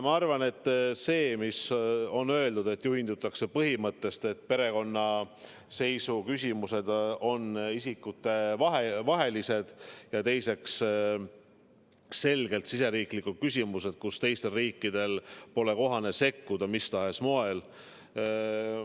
Ma arvan, et nagu öeldud, juhindutakse põhimõttest, et perekonnaseisu küsimused on isikutevahelised ja selgelt riigisisesed küsimused, kuhu teistel riikidel pole kohane sekkuda mis tahes moel.